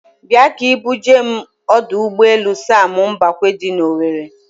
Bịa ka ị bu jee m ọdọ ụgbọelu Sam Mbakwe dị n'Owere.